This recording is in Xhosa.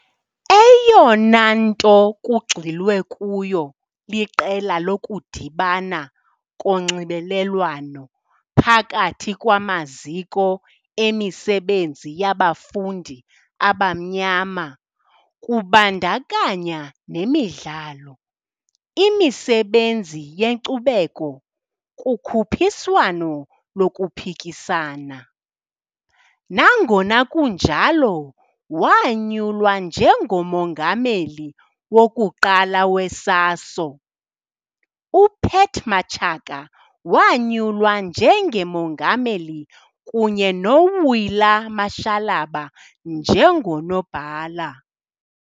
Eyona nto kugxilwe kuyo liqela lokudibana konxibelelwano phakathi kwamaziko emisebenzi yabafundi abamnyama, kubandakanya nemidlalo, imisebenzi yenkcubeko, kukhuphiswano lokuphikisana. Nangona kunjalo, wanyulwa njengo-Mongameli wokuqala we-SASO, UPat Matshaka wanyulwa njenge-Mongameli kunye no-Wuila Mashalaba njengo-Nobhala.